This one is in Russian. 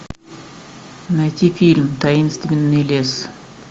найти фильм таинственный лес